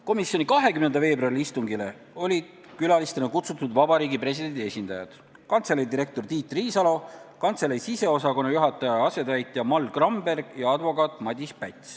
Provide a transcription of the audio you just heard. Komisjoni 20. veebruari istungile olid külalistena kutsutud Vabariigi Presidendi esindajad: kantselei direktor Tiit Riisalo, kantselei siseosakonna juhataja asetäitja Mall Gramberg ja advokaat Madis Päts.